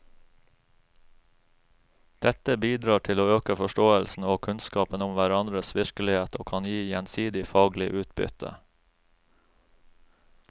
Dette bidrar til å øke forståelsen og kunnskapen om hverandres virkelighet og kan gi gjensidig faglig utbytte.